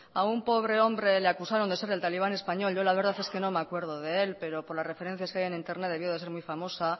a un pobre hombre le acusaron de ser el talibán español yo la verdad es que no me acuerdo de él pero por la referencias que hay en internet debió de ser muy famosa